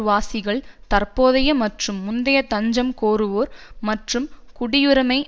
வாசிகள் தற்போதைய மற்றும் முந்தைய தஞ்சம் கோருவோர் மற்றும் குடியுரிமை